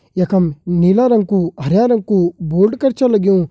यखम नीला रंग कु हरिया रंग कु बोल्ड कर छु लग्युं।